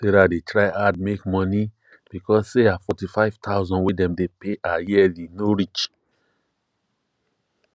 sarah dey try hard make money because say her 45000 wey dem dey pay her yearly no reach